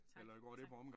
Tak tak